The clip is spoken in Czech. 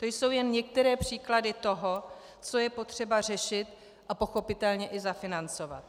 To jsou jen některé případy toho, co je potřeba řešit a pochopitelně i zafinancovat.